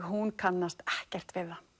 hún kannast ekkert við það